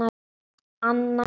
Anna Jóa